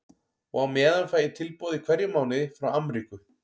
Og á meðan fæ ég tilboð í hverjum mánuði frá Amríku.